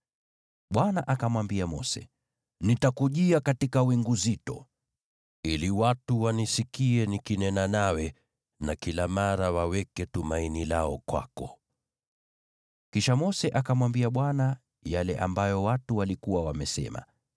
Bwana akamwambia Mose, “Nitakujia katika wingu zito, ili watu wanisikie nikinena nawe na kila mara waweke tumaini lao kwako.” Kisha Mose akamwambia Bwana yale ambayo watu walikuwa wamesema.